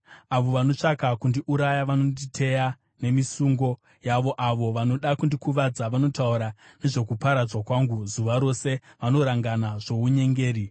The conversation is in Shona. Avo vanotsvaka kundiuraya vanonditeya nemisungo yavo, avo vanoda kundikuvadza vanotaura nezvokuparadzwa kwangu; zuva rose vanorangana zvounyengeri.